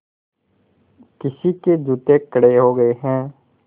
किसी के जूते कड़े हो गए हैं